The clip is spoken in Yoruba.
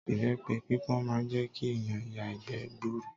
Ìbẹ́pe pípọ́n máa ń jẹ́ kí ẹ̀yàn ya ìgbẹ́ gbuuru.